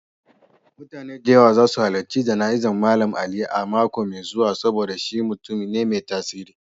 Mutane da yawa za su halarci jana'izar Mallam Ali a mako mai zuwa saboda shi mutum ne mai tasiri.